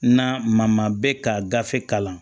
Na maa maa bɛ ka gafe kalan